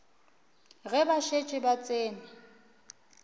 ge ba šetše ba tsene